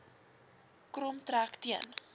krom trek teen